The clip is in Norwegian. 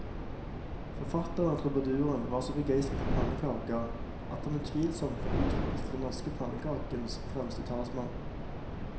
Forfatteren og trubaduren var så begeistret for pannekaker at han utvilsomt kan utropes til den norske pannekakens fremste talsmann.